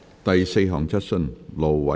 第四項質詢。